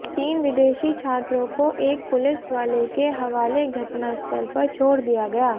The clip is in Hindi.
तीन विदेशी छात्रों को एक पुलिस वाले के हवाले घटना स्थल पर छोड़ दिया गया